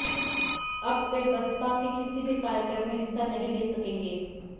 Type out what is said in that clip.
अब वह बसपा के किसी भी कार्यक्रम में हिस्सा नहीं ले सकेंगे